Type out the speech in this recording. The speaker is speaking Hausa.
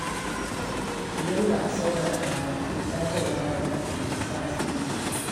Idan ba a saurara ba, to sadarwa ba za ta yi tasiri ba.